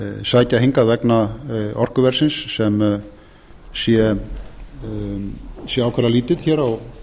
sækja hingað vegna orkuverðsins sem sé ákaflega lítið hér á